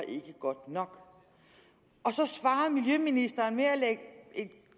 ikke godt nok og så svarer miljøministeren med at lægge